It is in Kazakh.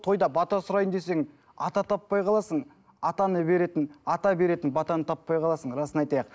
тойда бата сұрайын десең ата таппай қаласың атаны беретін ата беретін батаны таппай қаласың расын айтайық